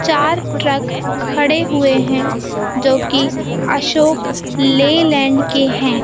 चार ट्रक खड़े हुए हैं जो कि अशोक ले लैंड के हैं।